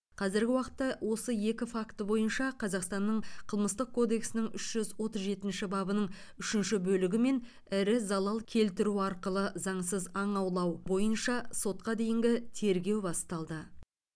қазіргі уақытта осы екі факті бойынша қазақстанның қылмыстық кодексінің үш жүз отыз жетінші бабының үшінші бөлігімен ірі залал келтіру арқылы заңсыз аң аулау бойынша сотқа дейінгі тергеу басталды